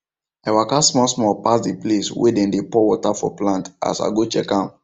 i waka small small pass the place wey them dey pour water for plants as i go check am